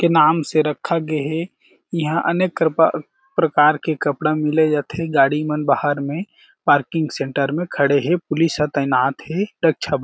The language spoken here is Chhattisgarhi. के नाम से रखा गे हे इहाँ अनेक क्रपा प्रकार के कपड़ा मिले जाथे गाड़ी मन बाहर में पार्किंग सेंटर में खड़े हें पुलिस ह तैनात हे रक्षा बर--